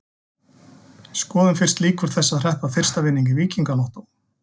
Skoðum fyrst líkur þess að hreppa fyrsta vinning í Víkingalottó.